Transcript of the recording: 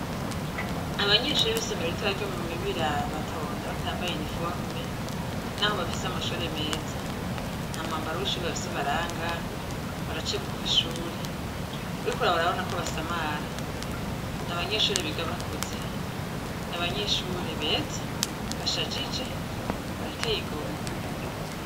Abanyeshure b'isomero ritoya ryo mu Mibira, batonda batambaye iniforome, naho bafise amashure meza, nta mwambaro w'ishure bafise ubaranga, baracegwa ku ishuri, iriko uraraba urabona ko basamara, n'abanyeshuri biga bakuze, n'abanyeshuri beza bashajije, barateye igomwe.